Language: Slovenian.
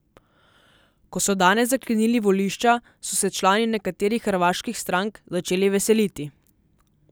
Ko so danes zaklenili volišča, so se člani nekaterih hrvaških strank začeli veseliti.